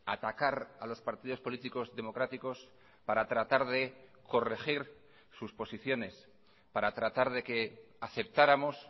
atacar a los partidos políticos democráticos para tratar de corregir sus posiciones para tratar de que aceptáramos